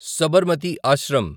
Sabarmati Ashram